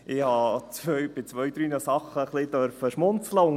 Ich habe zwei, drei Sachen ein wenig schmunzeln dürfen.